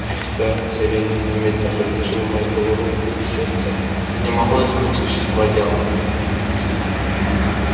и хотя рене немедленно предложил мейбелл руку и сердце это не могло изменить существа дела